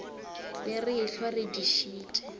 be re ehlwa re dišitše